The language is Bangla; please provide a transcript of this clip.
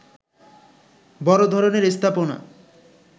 বড় ধরনের স্থাপনা